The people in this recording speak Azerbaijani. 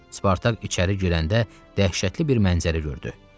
Spartak içəri girəndə dəhşətli bir mənzərə gördü.